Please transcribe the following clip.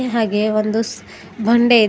ಹಾಗೆ ಒಂದು ಸ್ ಬಂಡೆ ಇದೆ.